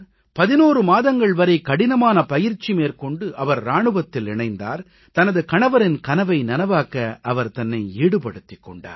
11 மாதங்கள் வரை கடினமான பயிற்சி மேற்கொண்டு அவர் இராணுவத்தில் இணைந்தார் தனது கணவரின் கனவை நனவாக்க அவர் தன்னை ஈடுபடுத்திக் கொண்டார்